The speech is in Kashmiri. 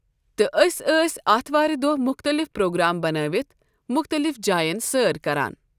تہٕ أسۍ ٲسۍ آتھوارِ دۄہ مُختلف پروگرام بنٲیِتھ مُختلف جاین سٲر کران۔